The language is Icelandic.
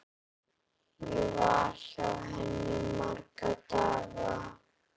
Ég var hjá henni í marga daga.